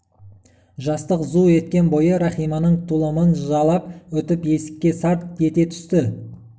жастық зу еткен бойы рахиманың тұлымын жалап өтіп есікке сарт ете түсті